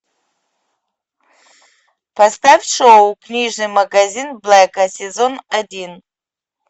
поставь шоу книжный магазин блэка сезон один